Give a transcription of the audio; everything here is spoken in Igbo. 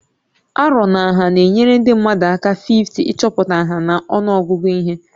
Arọ na nha na-enyere ndị mmadụ aka 5o ịchọpụta nha na ọnụọgụ ihe